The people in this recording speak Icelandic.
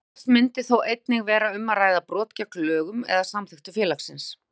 Oftast myndi þó einnig vera um að ræða brot gegn lögum eða samþykktum félagsins.